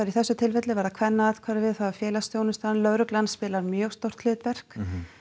í þessu tilfelli var það Kvennaathvarfið félagsþjónustan lögreglan spilar mjög stórt hlutverk